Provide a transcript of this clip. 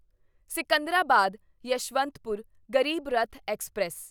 Secunderabad Yeshwantpur Garib Rath express